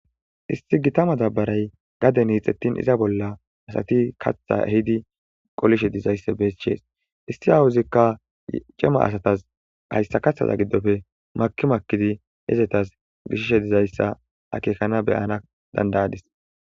isti gitama dabbaray gaden iixettin iza bolla asati katha ehidi qolishe dizayssa beschees isti hawuzikka cema asatas hayssa kathaza giddofe makimakkidi hezetas gishishe dizayssa akekana beyana dandayadis